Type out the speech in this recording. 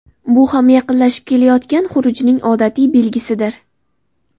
Bu ham yaqinlashib kelayotgan xurujning odatiy belgisidir.